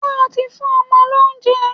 Ṣé o ti fún ọmọ lóúnjẹ?